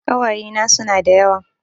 Ƙawayena suna da yawa